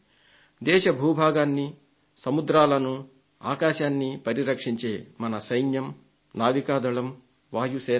దేశ భూభాగాన్ని సముద్రాలను ఆకాశాన్ని పరిరక్షించేవి మన సైన్యం నావికాదళం వాయుసేన